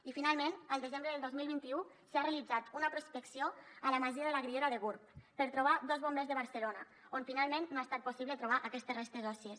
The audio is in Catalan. i finalment el desembre del dos mil vint u s’ha realitzat una prospecció a la masia de la griera de gurb per trobar dos bombers de barcelona on finalment no ha estat possible trobar aquestes restes òssies